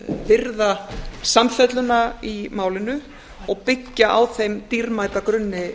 virða samfelluna í málinu og byggja á þeim dýrmæta grunni